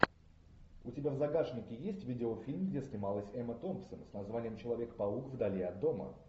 у тебя в загашнике есть видеофильм где снималась эмма томпсон с названием человек паук вдали от дома